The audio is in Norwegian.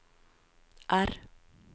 R